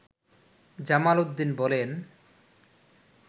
জামাল উদ্দিন বলেন